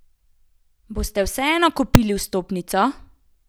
Boste vseeno kupili vstopnico?